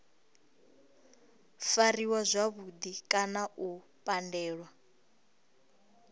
fariwa zwavhudi kana u pandelwa